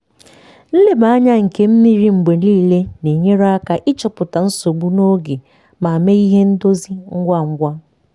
nleba anya nke mmiri mgbe niile na-enyere aka ịchọpụta nsogbu n'oge ma mee ihe ndozi ngwa ngwa.